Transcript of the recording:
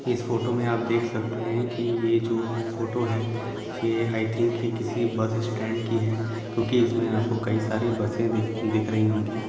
इस फोटो में आप देख सकते है कि ये जोफोटो है यह ई दिंक एक बस स्टैंड की है क्योंकि आपको इसमें बहुत कई सारी बसे दिख रही होंगी।